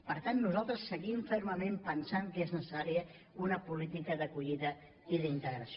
per tant nosaltres seguim fermament pensant que és necessària una política d’acollida i d’integració